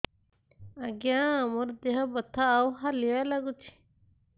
ଆଜ୍ଞା ମୋର ଦେହ ବଥା ଆଉ ହାଲିଆ ଲାଗୁଚି